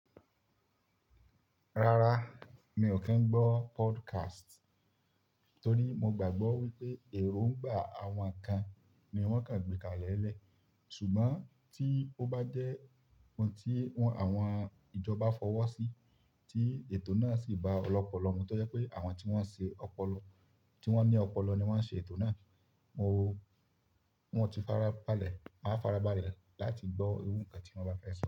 Rárá, mi ò kí ń gbọ́ podcast, torí mo gbàgbọ́ wípé èròǹgbà àwọn kan ni wọ́n kàn gbékalẹ̀ lẹ́ẹ̀. Ṣùgbọ́n tí ó bá jẹ́ ohun tí àwọn ìjọba fọwọ́ sí, tí ètò náà sì bá ọ̀pọ̀lọpọ̀ ọmọ, tó yẹ pé àwọn tí wọ́n ní ọpọlọ ni wọ́n ó ṣe ètò náà, mo máa farabalẹ̀ láti gbọ́ irú kan tí wọ́n bá fẹ́ sọ.